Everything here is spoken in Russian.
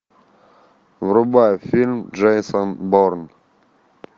врубай фильм джейсон борн